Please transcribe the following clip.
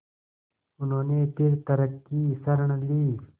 उन्होंने फिर तर्क की शरण ली